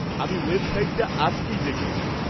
আমি ওয়েবসাইটটা আজকেই দেখব।